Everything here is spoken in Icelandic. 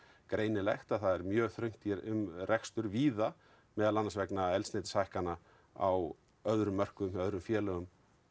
greinilegt að það er mjög þröngt um rekstur víða meðal annars vegna eldsneytishækkana á öðrum mörkuðum hjá öðrum félögum